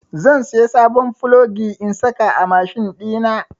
Zan saya sabon plogi in saka a mashin ɗina.